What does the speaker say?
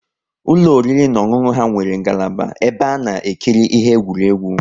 Ụlọ oriri na ọṅụṅụ ha nwere ngalaba ebe ana ekiri ihe eqwuregwu